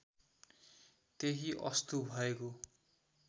त्यही अस्तु भएको